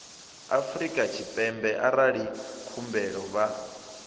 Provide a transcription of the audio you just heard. afrika tshipembe arali khumbelo vha